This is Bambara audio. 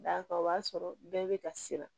D'a kan o b'a sɔrɔ bɛɛ bɛ ka siran